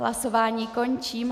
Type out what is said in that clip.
Hlasování končím.